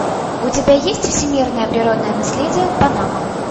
у тебя есть всемирное природное наследие панама